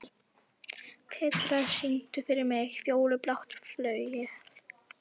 Petrea, syngdu fyrir mig „Fjólublátt flauel“.